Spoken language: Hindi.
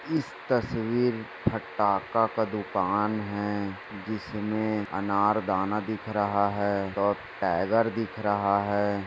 इस तस्वीर फटाका का दुकान हैं जिसमे अनारदाना दिख रहा हैं और टाइगर दिख रहा हैं।